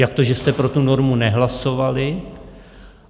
Jak to, že jste pro tu normu nehlasovali?